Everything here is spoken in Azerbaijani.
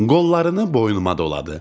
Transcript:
Qollarını boynuma doladı.